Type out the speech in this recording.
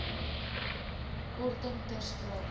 korting ter sprake